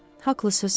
Haqlısınız.